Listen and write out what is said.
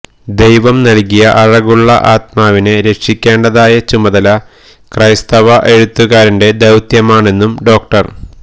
ദൈവം നൽകിയ അഴകുള്ള ആത്മാവിനെ രക്ഷിക്കേണ്ടതായ ചുമതല ക്രൈസ്തവ എഴുത്തുകാരന്റെ ദൌത്യമാണെന്നും ഡോ